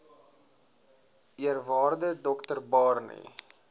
eerwaarde dr barney